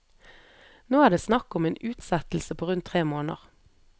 Nå er det snakk om en utsettelse på rundt tre måneder.